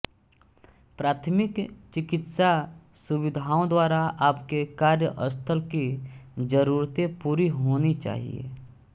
प्राथमिक चिकित्सा सुविधाओं द्वारा आपके कार्यस्थल की ज़रूरतें पूरी होनी चाहिए